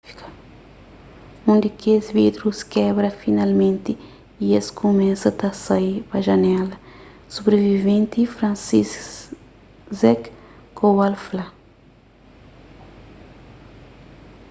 un di kes vidrus kebra finalmenti y es kumesa ta sai pa janela sobriviventi franciszek kowal fla